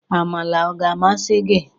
Amala ọ ga-amasị gị?